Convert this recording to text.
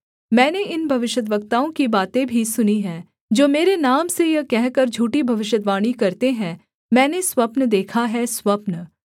मैंने इन भविष्यद्वक्ताओं की बातें भी सुनीं हैं जो मेरे नाम से यह कहकर झूठी भविष्यद्वाणी करते हैं मैंने स्वप्न देखा है स्वप्न